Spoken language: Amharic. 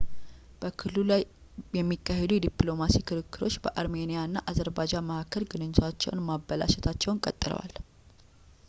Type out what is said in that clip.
በክልሉ ላይ የሚካሄዱ የዲፕሎማሲ ክርክሮች በአርሜኒያ እና በአዘርባጃን መካከል ግንኙነቶችን ማበላሸታቸውን ቀጥለዋል